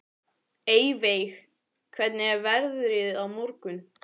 Eyveig, hvernig er veðrið á morgun?